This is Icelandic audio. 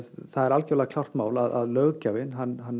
það er algerlega klárt mál að löggjafinn